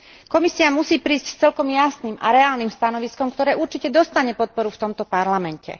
Komisia musí prísť s celkom jasným a reálnym stanoviskom, ktoré určite dostane podporu v tomto parlamente.